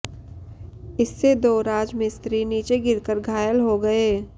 इससे दो राज मिस्त्री नीचे गिरकर घायल हो गए